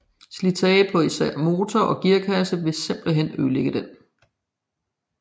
Slitagen på især motor og gearkasse ville simpelthen ødelægge den